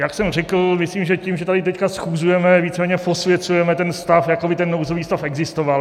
Jak jsem řekl, myslím, že tím, že tady teď schůzujeme, víceméně posvěcujeme ten stav, jako by ten nouzový stav existoval.